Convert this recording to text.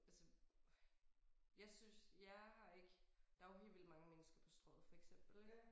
Altså jeg synes jeg har ikke der jo helt vildt mange mennesker på Strøget for eksempel ik